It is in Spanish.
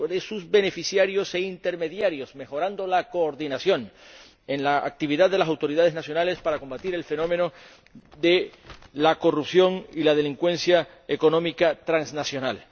sus beneficiarios e intermediarios, mejorando la coordinación en la actividad de las autoridades nacionales para combatir el fenómeno de la corrupción y la delincuencia económica transnacional.